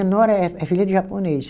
A Nora é é filha de japonês.